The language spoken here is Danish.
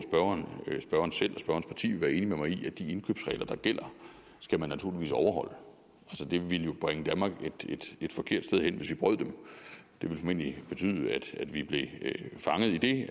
og parti vil være enig med mig i at de indkøbsregler der gælder skal man naturligvis overholde det ville jo bringe danmark et forkert sted hen hvis vi brød dem det ville formentlig betyde at vi blev fanget i